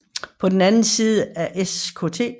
På den anden side af Skt